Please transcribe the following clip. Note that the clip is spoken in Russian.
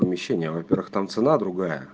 помещение а во-первых там цена другая